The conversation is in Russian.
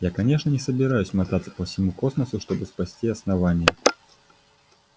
я конечно не собираюсь мотаться по всему космосу чтобы спасти основание